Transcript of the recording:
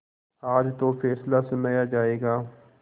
आज तो फैसला सुनाया जायगा